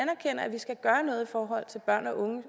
vi skal gøre noget i forhold til børn og unge og